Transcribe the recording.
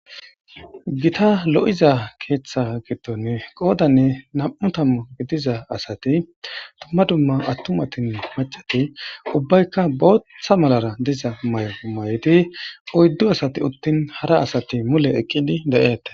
Gita lo7iza keeththa gitton qoodanne nam7u tammu gidiza asati dumma dumma attumatin macati ubbaykka bootttha malara diza may7o may7odi oyddu asati uttin hara asati mule eqqidi de7eete.